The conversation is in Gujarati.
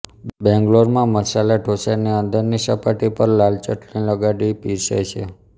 બેંગલોરમાં મસાલા ઢોસાની અંદરની સપાટી પર લાલ ચટણી લગાડી પીરસાય છે